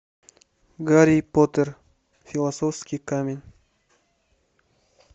гарри поттер философский камень